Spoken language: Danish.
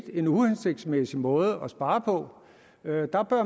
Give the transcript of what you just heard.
en uhensigtsmæssig måde at spare på